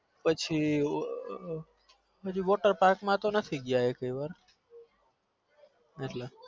પછી water park માં તો નથી ગયા એકે વાર એટલે